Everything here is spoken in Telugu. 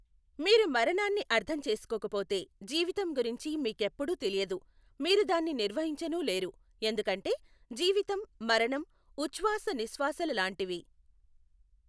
మీరు మరణాన్ని అర్థం చేసుకోకపొతే జీవితం గురించి మీకెప్పుడూ తెలియదు, మీరు దాన్ని నిర్వహించనూ లేరు ఎందుకంటే జీవితం మరణం ఉఛ్వాస నిశ్వాసాల లాంటివి.